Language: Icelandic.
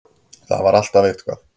Það var alltaf eitthvað.